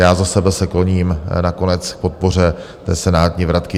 Já za sebe se kloním nakonec k podpoře té senátní vratky.